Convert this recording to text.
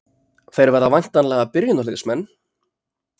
Þeir verða væntanlega byrjunarliðsmenn?